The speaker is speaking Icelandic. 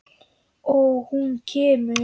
Og hún kemur.